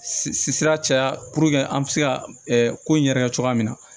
Sira caya an bɛ se ka ko in yɛrɛ kɛ cogoya min na